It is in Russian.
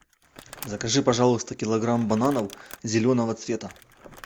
закажи пожалуйста килограмм бананов зеленого цвета